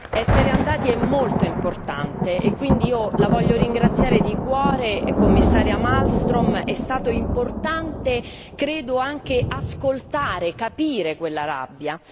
Essere andati è molto importante e quindi io la voglio ringraziare di cuore, Commissaria Malmström, è stato importante credo anche ascoltare, capire quella rabbia.